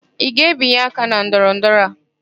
Ị ga-ebinye aka na ndọrọndọrọ a?